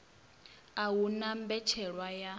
a hu na mbetshelwa ya